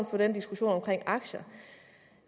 for den diskussion om aktier